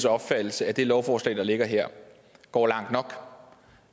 opfattelse at det lovforslag der ligger her går langt nok